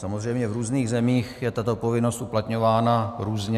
Samozřejmě v různých zemích je tato povinnost uplatňována různě.